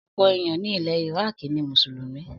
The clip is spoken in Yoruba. Ọ̀pọ̀ èèyàn ni ilẹ̀ Iraaki ni Mùsùlùmí